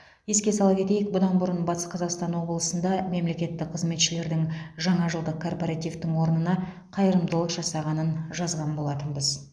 еске сала кетейік бұдан бұрын батыс қазақстан облысында мемлекеттік қызметшілердің жаңажылдық корпоративтің орнына қайырымдылық жасағанын жазған болатынбыз